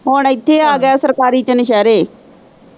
ਹੁਣ ਇੱਥੇ ਆਗਿਆ ਆ ਸਰਕਾਰੀ ਚ ਨਸ਼ਿਹਰੇ।